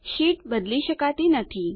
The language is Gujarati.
શીટ બદલી શકાતી નથી